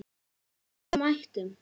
Og við mættum.